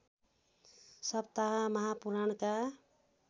सप्ताह महापुराणका